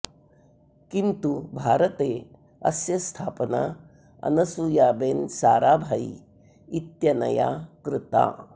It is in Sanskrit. किन्तु भारते अस्य स्थापना अनसुयाबेन साराभाई इत्यनया कृता